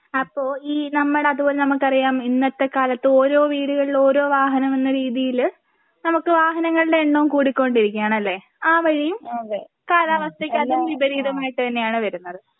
അപ്പോ ഈ നമ്മടെ അതുപോലെ നമുക്കറിയാം ഇന്നത്തെ കാലത്ത് ഓരോ വീടുകളിലും ഓരോ വാഹനമെന്ന രീതിയില് നമുക്ക് വാഹനങ്ങളുടെ എണ്ണവും കൂടിക്കൊണ്ടിരിക്കുകയാണ് അല്ലേ? ആ വഴിയും കാലാവസ്ഥയ്ക്ക് അതും വിപരീതമായിട്ട് തന്നെയാണ് വരുന്നത്.